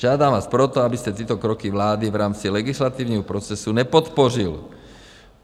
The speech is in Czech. Žádám vás proto, abyste tyto kroky vlády v rámci legislativního procesu nepodpořil.